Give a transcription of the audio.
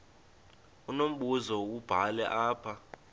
unombuzo wubhale apha